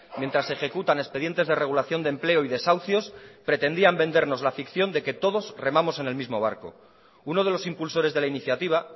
mientras se ejecutan expedientes de regulación de empleo y desahucios pretendían vendernos la ficción de que todos remamos en el mismo barco uno de los impulsores de la iniciativa